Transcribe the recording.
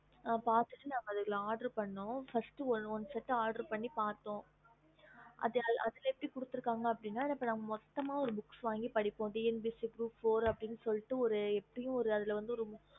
பாத்துட்டு நாங்க அத பண்ணோம் first oder பண்ணோம் first one set oder பண்ணி பாத்தோம் அதல எப்படி குடுத்து இருக்காங்க நா நம்ப மொத்தமா ஒரு வாங்கி படிப்போம் TNPSC group four அதல எப்படியும்